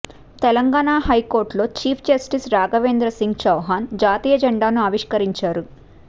తెలంగాణ హైకోర్టులో chief justice Raghavendra Singh Chauhan జాతీయ జెండాను ఆవిష్కరించారు